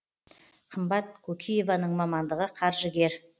қымбат кокиеваның мамандығы қаржыгер